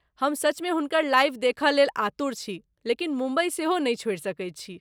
हम सचमे हुनकर लाइव देखय लेल आतुर छी ,लेकिन मुम्बई सेहो नहि छोड़ि सकैत छी।